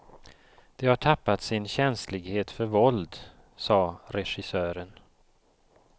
De har tappat sin känslighet för våld, sade regissören.